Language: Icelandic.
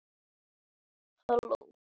Þinn sonur, Helgi Heiðar.